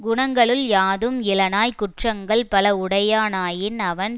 குணங்களுள் யாதும் இலனாய்க் குற்றங்கள் பல உடையானாயின் அவன்